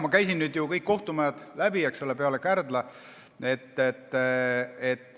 Ma olen käinud läbi kõik kohtumajad peale Kärdla.